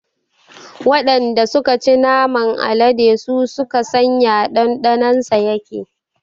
Waɗanda suka ci naman alade su suka san ya ɗanɗanon sa yake